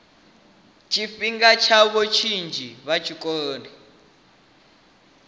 tshifhinga tshavho tshinzhi vhe tshikoloni